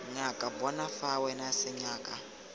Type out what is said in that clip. ngakane bona fa wena senyaka